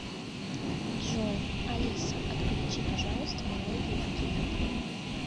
джой алиса отключи пожалуйста мелодию будильника